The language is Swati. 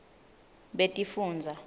betifundza